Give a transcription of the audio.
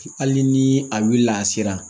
Hali ni a wulila a sera